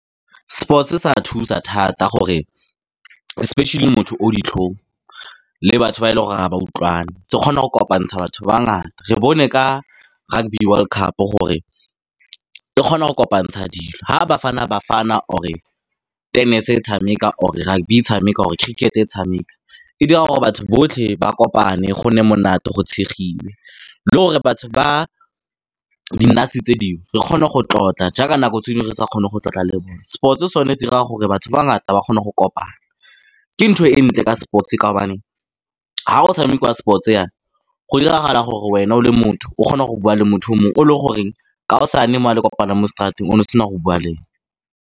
Sports se a thusa thata, gore especially motho o ditlhong le batho ba e leng gore ga ba utlwane. Se kgona go kopantsha batho ba ba ngata. Re bone ka Rugby World Cup gore e kgona go kopantsha dilo. Fa Bafana Bafana or-e tennis-e e tshameka, or-e rugby e tshameka, or-e cricket-e e tshameka, e dira gore batho botlhe ba kopane, go nne monate, go tshegiwe, le gore batho ba di tse dingwe, re kgone go tlotla, jaaka nako tse dingwe re sa kgone go tlotla le bone. Sports-e sone se 'ira gore batho ba ba ngata ba kgone go kopana. Ke ntho e ntle ka sports-e, ka gobaneng fa go tshamekiwa sports-e jaana, go diragala gore wena o le motho o kgone go bua le motho o mongwe, o e leng gore kaosane mo fa le kopana mo straat-eng, one o sena go bua le ene.